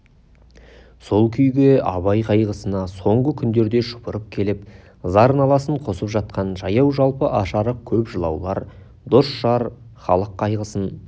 сол күйге абай қайғысына соңғы күндерде шұбырып келіп зар-наласын қосып жатқан жаяу-жалпы аш-арық көп жылаулар дос-жар халық қайғысын